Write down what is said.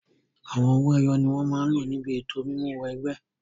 Àwọn owó ẹyọ ni wọn máa lò níbi ètò mímú wọ ẹgbẹ́.